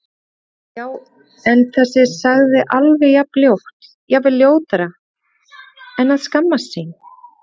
Já- en þessi sagði alveg jafn ljótt, jafnvel ljótara En að skammast sín?